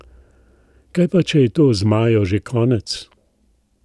Kaj pa, če je to z Majo že konec?